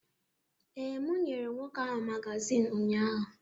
Ee, m nyere nwoke ahụ magazin ụnyahụ.